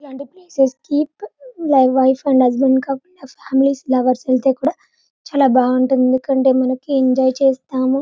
ఇలాంటి ప్లేసెస్ కి wife and husband couples వెళ్తే కూడా చాలా బాగుంటుంది ఎందుకంటె మనకి ఎంజాయ్ చేస్తాము --